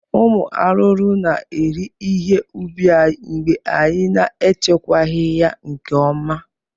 Ụmụ arụrụ na-eri ihe ubi anyị mgbe anyị na-echekwaghị ya nke ọma